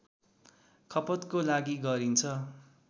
खपतको लागि गरिन्छ